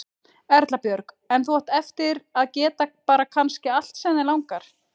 Erla Björg: En þú átt eftir að geta bara kannski allt sem þig langar?